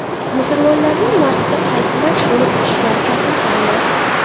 Musulmonlarning Marsga qaytmas bo‘lib uchishlari taqiqlandi.